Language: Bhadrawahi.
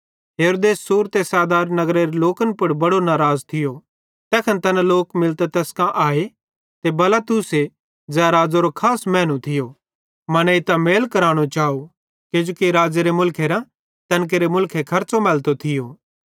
हेरोदेस सूर ते सैदारे नगरेरे लोकन पुड़ बड़ो नाराज़ थियो तैखन तैना लोक मिलतां तैस कां आए ते बलास्तुसे ज़ै राज़ेरो खास मैनू थियो मनेइतां मेल केरनो चाव किजोकि राज़ो एरे मुलखेरां तैन केरे मुलखे खर्च़ो मैलतो थियो